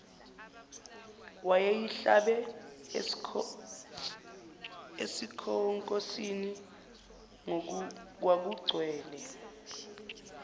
wayeyihlabe esikhonkosini kwakugcwele